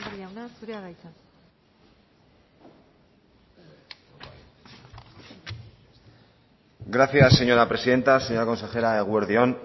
jauna zurea da hitza gracias señora presidenta señora consejera eguerdi on